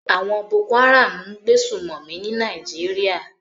Àwon Boko Haram n gbé sùmòmí ní Naijiria